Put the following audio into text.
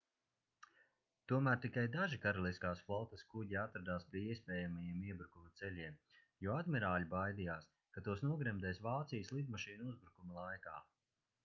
tomēr tikai daži karaliskās flotes kuģi atradās pie iespējamajiem iebrukuma ceļiem jo admirāļi baidījās ka tos nogremdēs vācijas lidmašīnu uzbrukuma laikā